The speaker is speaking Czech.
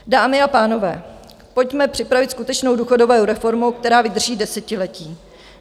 Dámy a pánové, pojďme připravit skutečnou důchodovou reformou, která vydrží desetiletí.